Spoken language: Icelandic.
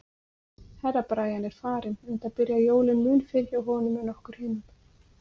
Herra Brian er farinn, enda byrja jólin mun fyrr hjá honum en okkur hinum.